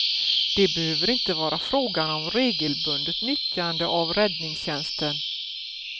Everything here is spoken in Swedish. Det behöver inte vara fråga om regelbundet nyttjande av räddningstjänsten.